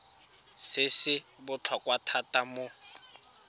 se se botlhokwa thata mo